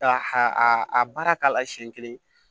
Ka a a baara k'a la siɲɛ kelen